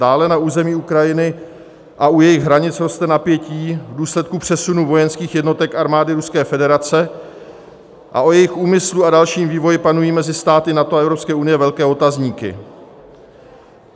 Dále na území Ukrajiny a u jejich hranic roste napětí v důsledku přesunu vojenských jednotek armády Ruské federace a o jejich úmyslu a dalším vývoji panují mezi státy NATO a EU velké otazníky.